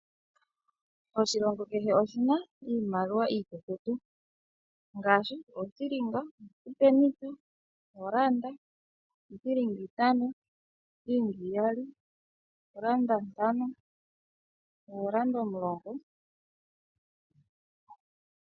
Oshilongo kehe oshi na iimaliwa iikukutu, ngaashi othilinga, osipenitha, oranda, iithilinga itano, iithilinga iyali, ooranda ntano nooranda omulongo.